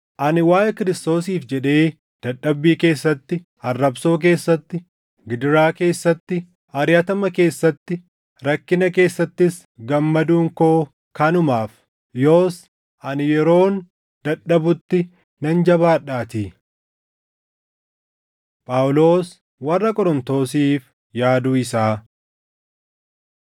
Ani waaʼee Kiristoosiif jedhee dadhabbii keessatti, arrabsoo keessatti, gidiraa keessatti, ariʼatama keessatti, rakkina keessattis gammaduun koo kanumaaf. Yoos ani yeroon dadhabutti nan jabaadhaatii. Phaawulos Warra Qorontosiif Yaaduu Isaa